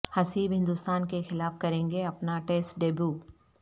حسیب ہندستان کے خلاف کریں گے اپنا ٹیسٹ ڈیبو